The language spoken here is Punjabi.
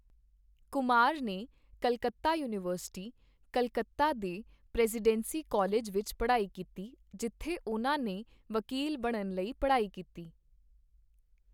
ਕੁਮਾਰ ਨੇ ਕਲਕੱਤਾ ਯੂਨੀਵਰਸਿਟੀ, ਕੱਲਕੱਤਾ ਦੇ ਪ੍ਰੈਜ਼ੀਡੈਂਸੀ ਕਾਲਜ ਵਿੱਚ ਪੜ੍ਹਾਈ ਕੀਤੀ, ਜਿੱਥੇ ਉਹਨਾਂ ਨੇ ਵਕੀਲ ਬਣਨ ਲਈ ਪੜ੍ਹਾਈ ਕੀਤੀ।